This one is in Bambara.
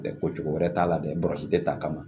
Ɛɛ ko cogo wɛrɛ t'a la dɛ basi tɛ ta ka